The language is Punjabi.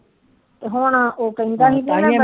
ਹੁਣ ਉਹ ਕਹਿੰਦਾ